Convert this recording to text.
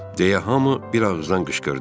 Deyə hamı bir ağızdan qışqırdı.